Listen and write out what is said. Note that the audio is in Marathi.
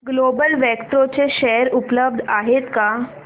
ग्लोबल वेक्ट्रा चे शेअर उपलब्ध आहेत का